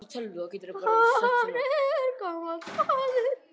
Hann er gamall maður.